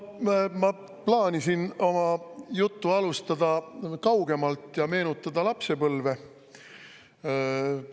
No ma plaanisin oma juttu alustada kaugemalt ja meenutada lapsepõlve.